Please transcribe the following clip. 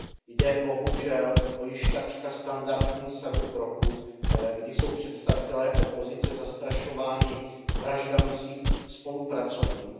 Jde bohužel o již takřka standardní sadu kroků, kdy jsou představitelé opozice zastrašováni vraždami svých spolupracovníků.